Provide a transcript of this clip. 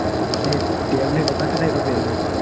આ tablet હતા ને એના favourite